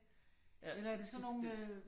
Ja, bestemt